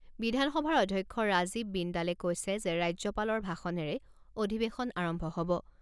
বিধানসভাৰ অধ্যক্ষ ৰাজীৱ বিন্দালে কৈছে যে ৰাজ্যপালৰ ভাষণেৰে অধিৱেশন আৰম্ভ